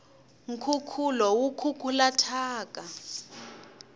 nkukulu wu kukula thyaka